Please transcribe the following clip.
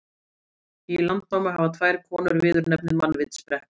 Í Landnámu hafa tvær konur viðurnefnið mannvitsbrekka.